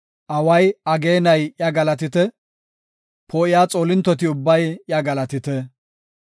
Away, ageenay iya galatite; poo7iya xoolintoti ubbay iya galatite.